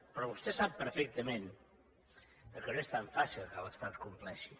però vostè sap perfectament que no és tan fàcil que l’estat complexi